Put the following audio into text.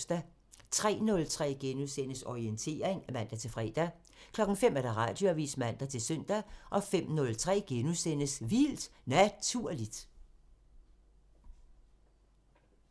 03:03: Orientering *(man-fre) 05:00: Radioavisen (man-søn) 05:03: Vildt Naturligt *